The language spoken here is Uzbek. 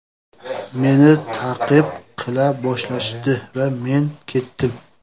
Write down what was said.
Meni ta’qib qila boshlashdi va men ketdim.